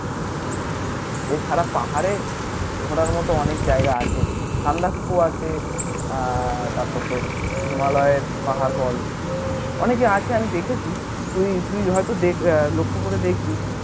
এছাড়া পাহাড়ে ঘোরার মতো অনেক জায়গা আছে সান্দাকফু আছে আহ তারপর তোর হিমালয়ের পাহাড় বল অনেকই আছে আমি দেখেছি তুই তুই হয়তো লক্ষ্য করে দেখবি